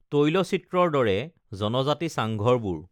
তৈলচিত্ৰৰ দৰে জনজাতি চাঙঘৰবোৰ